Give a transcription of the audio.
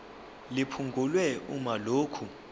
liphungulwe uma lokhu